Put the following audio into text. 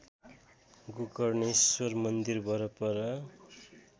गोकर्णेश्वर मन्दिर वरपर